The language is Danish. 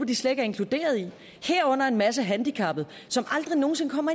de slet ikke er inkluderet i herunder en masse handicappede som aldrig nogen sinde kommer